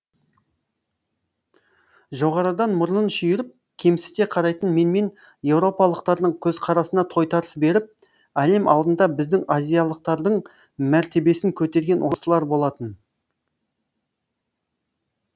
жоғарыдан мұрнын шүйіріп кемсіте қарайтын менмен еуропалықтардың көзқарасына тойтарыс беріп әлем алдында біздің азиялықтардың мәртебесін көтерген осылар болатын